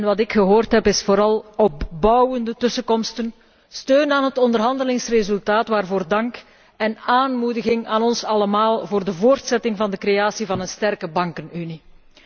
Wat ik gehoord heb zijn vooral opbouwende woorden, steun aan het onderhandelingsresultaat, waarvoor dank, en aanmoediging aan ons allemaal voor de voortzetting van de creatie van een sterke bankenunie.